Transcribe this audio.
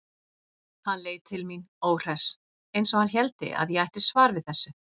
Hann leit til mín, óhress, eins og hann héldi að ég ætti svar við þessu.